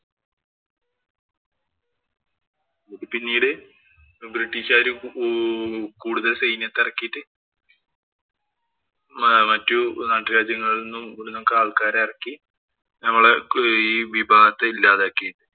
ഇത് പിന്നീട് ബ്രിട്ടീഷുകാര് കൂടുതല്‍ സൈന്യത്തെ ഇറക്കിയിട്ട്‌ മറ്റു നാട്ടുരാജ്യങ്ങളില്‍ നിന്നും, ഇവിടുന്നുമൊക്കെ ആള്‍ക്കാരെ ഇറക്കി നമ്മളെ ഈ വിഭാഗത്തെ ഇല്ലാതാക്കി.